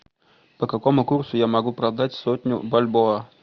по какому курсу я могу продать сотню бальбоа